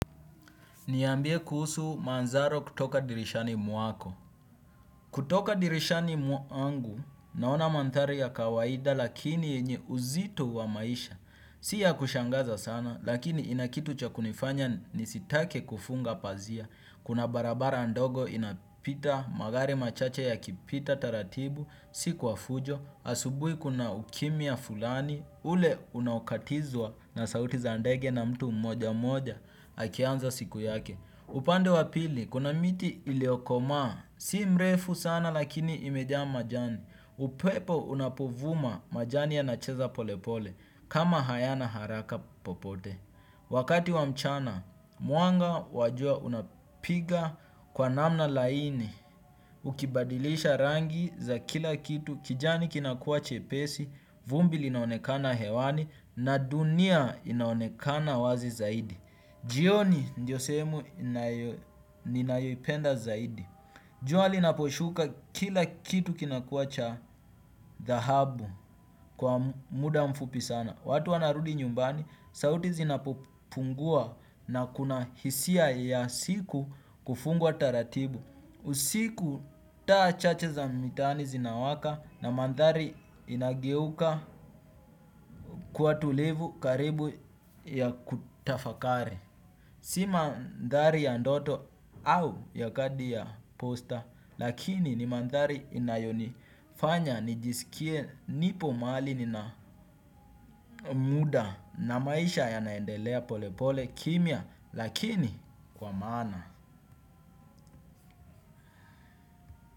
Niambie kuhusu manthari kutoka dirishani mwako. Kutoka dirishani mwangu naona manthari ya kawaida lakini yenye uzito wa maisha. Si ya kushangaza sana lakini ina kitu cha kunifanya nisitake kufunga pazia. Kuna barabara ndogo inapita magari machache yakipita taratibu. Si kwa fujo. Asubui kuna ukimya fulani. Ule unaokatizwa na sauti za ndege na mtu mmoja mmoja. Akianza siku yake. Upande wa pili, kuna miti iliokomaa, si mrefu sana lakini imejaa majani, upepo unapovuma majani yanacheza pole pole, kama hayana haraka popote. Wakati wa mchana, mwanga wa jua unapiga kwa namna laini, ukibadilisha rangi za kila kitu, kijani kinakua chepesi, vumbi linaonekana hewani, na dunia inaonekana wazi zaidi. Jioni ndio sehemu ninayoipenda zaidi. Jua linaposhuka kila kitu kinakuwa cha dhahabu kwa muda mfupi sana. Watu wanarudi nyumbani sauti zinapopungua na kuna hisia ya siku kufungwa taratibu. Usiku taa chache za mitaani zinawaka na manthari inageuka kuwa tulivu karibu ya kutafakari. Si manthari ya ndoto au ya kadi ya posta lakini ni manthari inayonifanya nijisikie nipo mahali nina muda na maisha yanaendelea pole pole kimya lakini kwa maana.